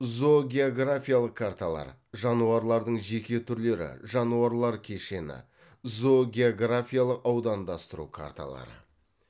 зоогеографиялық карталар жануарлардың жеке түрлері жануарлар кешені зоогеографиялық аудандастыру карталары